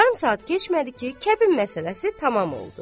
Yarım saat keçmədi ki, kəbin məsələsi tamam oldu.